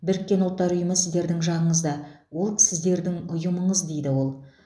біріккен ұлттар ұйымы сіздердің жағыңызда ол сіздердің ұйымыңыз дейді ол